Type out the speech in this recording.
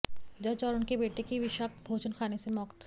जज और उनके बेटे की विषाक्त भोजन खाने से मौत